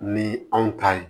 Ni anw ta ye